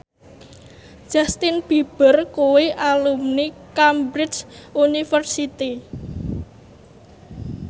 Justin Beiber kuwi alumni Cambridge University